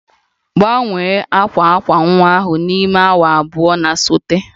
Gbanwee akwa akwa nwa ahụ n'ime awa abụọ na-esote!